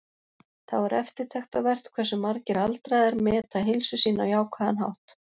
Þá er eftirtektarvert hversu margir aldraðir meta heilsu sína á jákvæðan hátt.